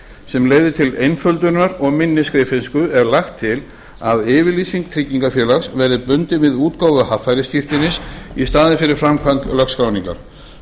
sem leiðir til einföldunar og minni skriffinnsku er lagt til að yfirlýsing tryggingarfélags verði bundin við útgáfu haffærisskírteinis í staðinn fyrir framkvæmd lögskráningar